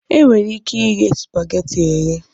E nwere ike ighe supageti eghe.